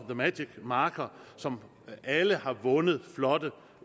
the magic marker som alle har vundet flotte